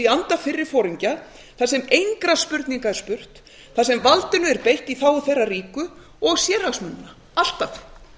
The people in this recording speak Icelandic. í anda fyrri foringja þar sem engra spurninga er spurt þar sem valdinu er eitt í þágu þeirra ríku og sérhagsmunanna alltaf